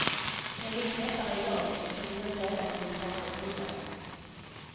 Det är lite lättare i dag eftersom vi nu städat i ett par år tidigare.